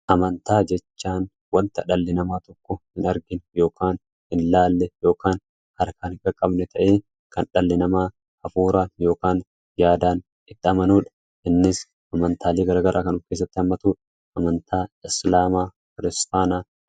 Amantaa jechaan wanta dhalli namaa tokko hin argin yookaan hin ilaalle yookaan harkaan hin qaqqabne ta'ee kan dhal'i namaa hafuuraa yookaan yaadaan itti amanuudha innis amantaalee garagaraa kan of keessatti hammatuudha. Amantaa islaamaa, kiristaanaa fi kanneen biroo dabalata.